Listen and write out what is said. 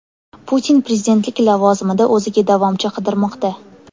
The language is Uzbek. Putin prezidentlik lavozimida o‘ziga davomchi qidirmoqda.